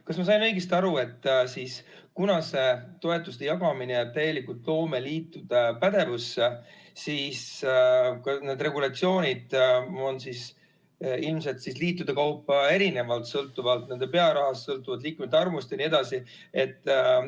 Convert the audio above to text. Kas ma sain õigesti aru, et kuna see toetuste jagamine jääb täielikult loomeliitude pädevusse, siis kõik need regulatsioonid on ilmselt liitude kaupa erinevad, sõltuvalt nende pearahast, liikmete arvust jne?